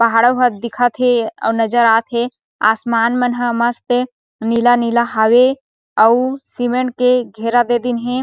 पहाड़ो हत दिखत हे अउ नज़र आत हे आसमान मन हे मस्त नीला-नीला हावे अउ सीमेंट के घेरा दे दीन हे।